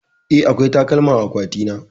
Eh, akwai takalma a akwatina.